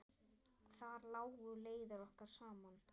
Þar lágu leiðir okkar saman.